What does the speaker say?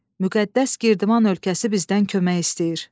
Müqəddəs Girdiman ölkəsi bizdən kömək istəyir.